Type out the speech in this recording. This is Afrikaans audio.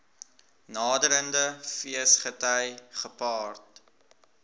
naderende feesgety gepaard